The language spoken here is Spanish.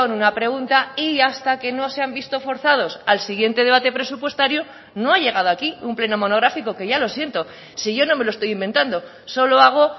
una pregunta y hasta que no se han visto forzados al siguiente debate presupuestario no ha llegado aquí un pleno monográfico que ya lo siento si yo no me lo estoy inventando solo hago